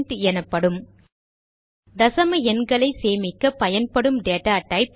int எனப்படும் தசம எண்களை சேமிக்க பயன்படும் டேட்டா டைப்